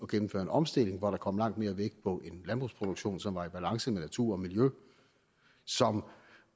gennemføre en omstilling hvor der kommer langt mere vægt på en landbrugsproduktion som er i balance med natur og miljø som